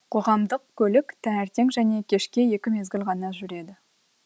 қоғамдық көлік таңертең және кешке екі мезгіл ғана жүреді